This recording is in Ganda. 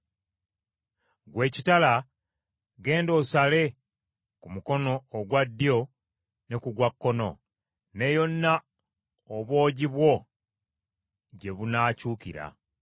Ggwe ekitala genda osale ku mukono ogwa ddyo ne ku gwa kkono, ne yonna obwogi bwo gye bunaakyukira.